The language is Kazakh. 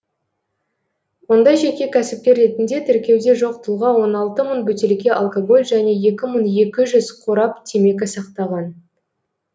онда жеке кәсіпкер ретінде тіркеуде жоқ тұлға он алты мың бөтелке алкоголь және екі мың екі жүз қорап темекі сақтаған